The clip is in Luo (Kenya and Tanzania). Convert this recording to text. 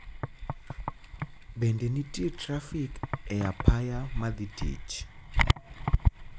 bende nitie trafik e apaya madhi tich